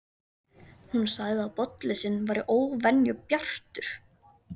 Hún sagði að bollinn sinn væri óvenju bjartur.